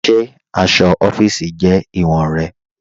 Ṣe aṣọ ọfiisi jẹ iwọ̀n rẹ̀?